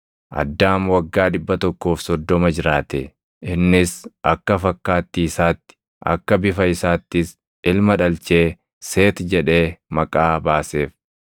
Addaam waggaa 130 jiraate; innis akka fakkaattii isaatti, akka bifa isaattis ilma dhalchee Seeti jedhee maqaa baaseef.